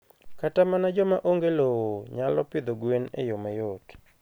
Kata mana joma onge lowo nyalo pidho gwen e yo mayot.